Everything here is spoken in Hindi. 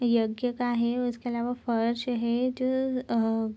यज्ञ का है और इसके अलावा फ़र्श है जो अ अ --